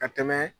Ka tɛmɛ